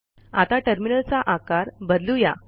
आता टर्मिनलचा आकार बदलू या